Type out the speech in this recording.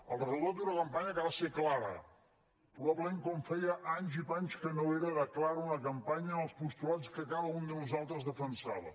el resultat d’una campanya que va ser clara probablement com feia anys i panys que no ho era de clara una campanya amb els postulats que cada un de nosaltres defensava